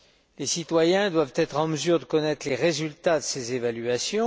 Les citoyens doivent être en mesure de connaître les résultats de ces évaluations.